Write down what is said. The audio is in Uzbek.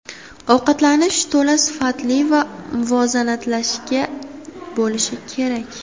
Ovqatlanish to‘la sifatli va muvozanatlashgan bo‘lishi kerak.